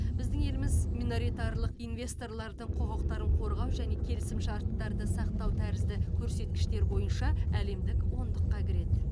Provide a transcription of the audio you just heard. біздің еліміз миноритарлық инвесторлардыың құқықтарын қорғау және келісімшарттарды сақтау тәрізді көрсеткіштер бойынша әлемдік ондыққа кіреді